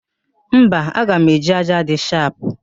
Mba, aga m eji ájá dị shapụ